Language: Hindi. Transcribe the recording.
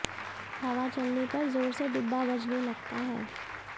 हवा चलने पर जोर से डिब्बा बजने लगता है